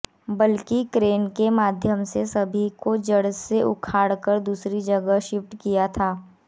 बल्की crane के माध्यम से सभी को जड़ से उखाड़कर दूसरी जगह शिफ्ट किया था